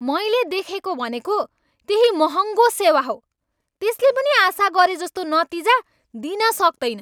मैले देखेको भनेको त्यही महङ्गो सेवा हो, त्यसले पनि आशा गरेजस्तो नतिजा दिन सक्तैन।